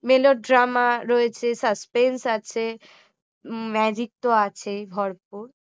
melo drama রয়েছে suspense আছে magic তো আছেই ভরপুর